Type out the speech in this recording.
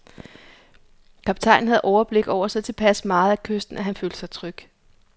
Kaptajnen havde overblik over så tilpas meget af kysten, at han følte sig tryg.